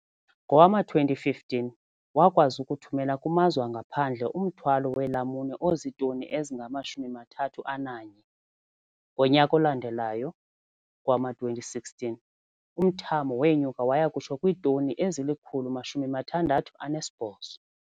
Ngowama-2015, wakwazi ukuthumela kumazwe angaphandle umthwalo weelamuni ozitoni ezingama-31. Ngonyaka olandelayo, ngowama-2016, umthamo wenyuka waya kutsho kwiitoni ezili-168.